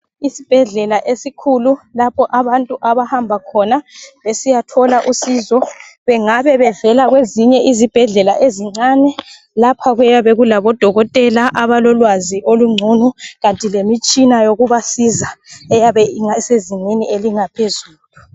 Isibhedlela esikhulu lapho abantu abahamba khona besiyathola usizo ,bengabe bevela kwezinye izibhedlela ezincane. Lapha kuyabe kulaboDokothela abalolwazi olungcono kanti lemitshina yokubasiza eyabe isezingeni elingaphezulu.